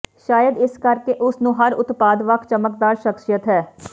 ਸ਼ਾਇਦ ਇਸੇ ਕਰਕੇ ਉਸ ਨੂੰ ਹਰ ਉਤਪਾਦ ਵੱਖ ਚਮਕਦਾਰ ਸ਼ਖ਼ਸੀਅਤ ਹੈ